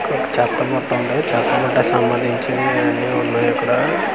క చెత్తబుట్ట ఉంది చెత్తబుట్టకు సంబంధించినయివన్నీ ఉన్నాయి ఇక్కడ--